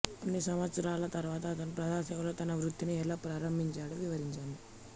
కొన్ని సంవత్సరాల తరువాత అతను ప్రజాసేవలో తన వృత్తిని ఎలా ప్రారంభించాడో వివరించాడు